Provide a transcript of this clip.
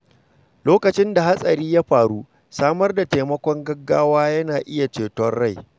Lokacin da hatsari ya faru, samar da taimakon gaggawa yana iya ceto rai.